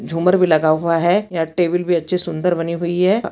झूमर भी लगा हुआ है यह टेबिल भी अच्छी सुंदर बनी हुई है।